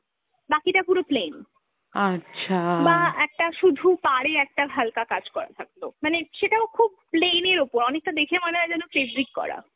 বাকিটা পুরো plain, বা একটা শুধু পাড়ে একটা হালকা কাজ করা থাকল মানে সেটাও খুব plain এর ওপর, অনেকটা দেখে মনে হয় যেন fabric করা